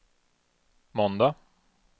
måndag